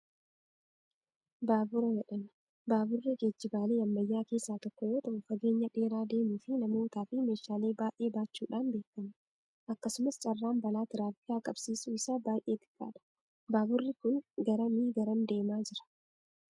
Baabura jedhama. Baaburri geejjibaalee ammayyaa keessaa tokko yoo ta'u, fageenya dheeraa deemuu fi namootaa fi meeshaalee baay'ee baachuudhaan beekama. Akkasumas carraan balaa tiraafikaa qaqqabsiisuu isaa baay'ee xiqqaa dha. Baaburri kun garamii garam deemaa jira?